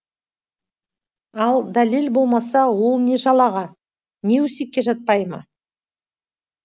ал дәлел болмаса ол не жалаға не өсекке жатпай ма